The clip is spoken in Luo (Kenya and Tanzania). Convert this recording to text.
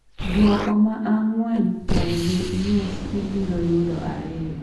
duoko ma ang'wen pogi gi nus ibiro yudo ariyo